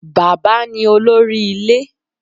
Bàbá ni olórí ilé